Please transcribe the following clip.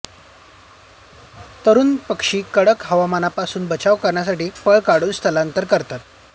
तरुण पक्षी कडक हवामानापासून बचाव करण्यासाठी पळ काढून स्थलांतर करतात